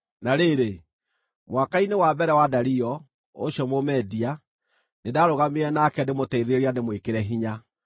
Na rĩrĩ, mwaka-inĩ wa mbere wa Dario, ũcio Mũmedia, nĩndarũgamire nake ndĩmũteithĩrĩrie na ndĩmwĩkĩre hinya.)